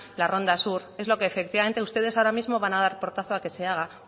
la ronda sur es lo que efectivamente ustedes ahora mismo van a dar portazo a que se haga